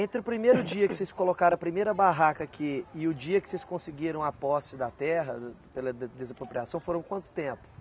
Entre o primeiro dia que vocês colocaram a primeira barraca aqui e o dia que vocês conseguiram a posse da terra pela de desapropriação, foram quanto tempo?